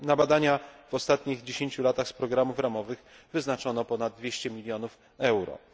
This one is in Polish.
Na badania w ostatnich dziesięciu latach z programów ramowych wyznaczono ponad 200 mln euro.